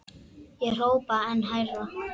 Ég hrópaði enn hærra.